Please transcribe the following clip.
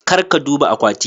Kar ka duba akwati.